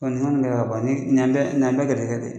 nin nin y'an bɛɛ nin y'an bɛɛ gɛrizɛgɛ de ye.